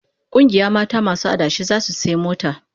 Kungiyar mata masu adashi zasu sayi mota